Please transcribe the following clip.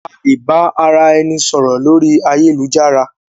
A lè ba ara ẹni sọ̀rọ̀ lórí ayélujára.